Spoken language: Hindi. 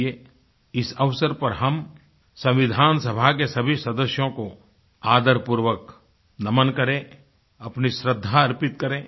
आइये इस अवसर पर हम संविधान सभा के सभी सदस्यों को आदरपूर्वक नमन् करें अपनी श्रद्धा अर्पित करें